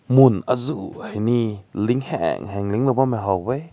mun aazu hai ne ling heng heng ling lao bam mai ha weh.